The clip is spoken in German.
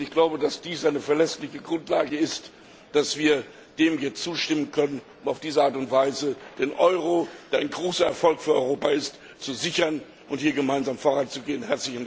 Ich glaube, dass dies eine verlässliche Grundlage ist, dass wir dem hier zustimmen können, um auf diese Art und Weise den Euro, der ein großer Erfolg für Europa ist, zu sichern und hier gemeinsam voranzugehen.